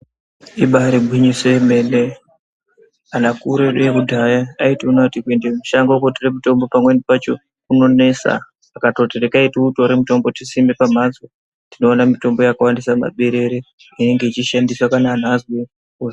Ibari gwinyiso yemene, anhu akuru edu ekudhaya kuende mushango kotore mitombo pamweni pacho kunonesa akatoti regai tiutore mutombo tisime pamhatso. Tinoona mitombo yakawandisa mumaberere inenge ichishandiswe kana anthu azwe .....